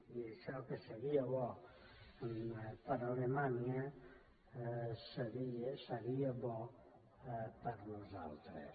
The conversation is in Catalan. i això que seria bo per a alemanya seria bo per a nosaltres